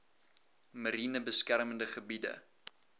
mariene beskermde gebiede